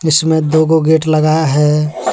जिसमें दो गो गेट लगाया है।